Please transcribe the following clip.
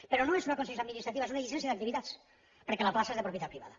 però no és una concessió administrativa és una llicència d’activitats perquè la plaça és de propietat privada